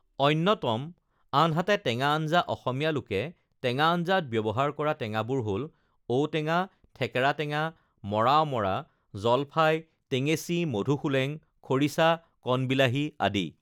অন্যতম আনহাতে টেঙা আঞ্জা অসমীয়া লোকে টেঙা আঞ্জাত ব্যৱহাৰ কৰা টেঙাবোৰ হ'ল ঔটেঙা ঠেকেৰা টেঙা মৰা অমৰা জলফাই টেঙেচি মধুসোলেং খৰিছা কণবিলাহী আদি